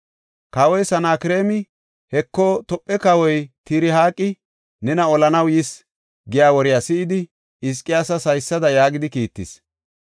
Kawoy Sanakreemi, “Heko, Tophe kawoy Tirhaaqi nena olanaw yis” giya woriya si7idi, Hizqiyaasas haysada yaagidi kiittis.